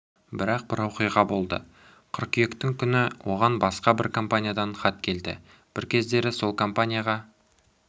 бірақ бір оқиға болды қыркүйектің күні оған басқа бір компаниядан хат келді бір кездері сол компанияға